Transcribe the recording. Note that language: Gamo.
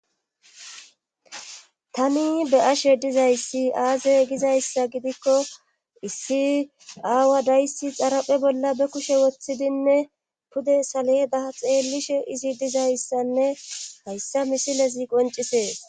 tani be'ashe dizayssi aaze gizayssa gidikko issi aawa dayssi xaraphe bolla be kushe woththidinne pude saledaa xeellishe izi dizayssanne hayssa misilezi qoncisees